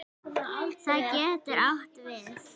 Það getur átt við